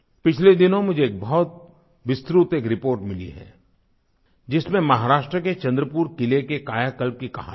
पिछले दिनों मुझे बहुत विस्तृत एक रिपोर्ट मिली है जिसमें महाराष्ट्र के चंद्रपुर किले के कायाकल्प की कहानी है